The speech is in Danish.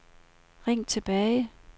ring tilbage